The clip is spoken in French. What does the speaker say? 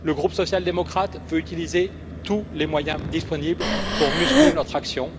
Le groupe social démocrate veut utiliser tous les moyens disponibles pour muscler notre action.